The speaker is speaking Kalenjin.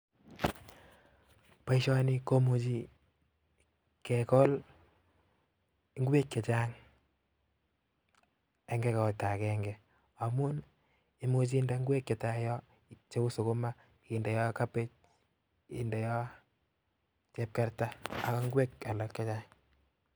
Poshani. kemuchi kekol ngweek chechang Eng kimasta agenge ago ngwek chepo kamanut kot missing